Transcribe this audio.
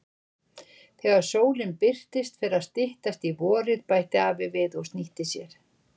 Þegar sólin birtist fer að styttast í vorið bætti afi við og snýtti sér.